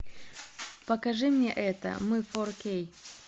покажи мне это мы фор кей